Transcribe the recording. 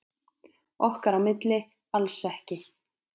Okkar á milli alls ekki.